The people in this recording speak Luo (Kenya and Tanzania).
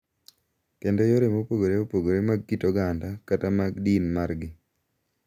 Kendo yore mopogore opogore mag kit oganda kata mag din margi.